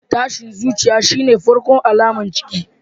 Tashin zuciya shine farkon alamar ciki.